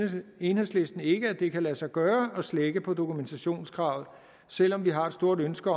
enhedslisten ikke at det kan lade sig gøre at slække på dokumentationskravet selv om vi har et stort ønske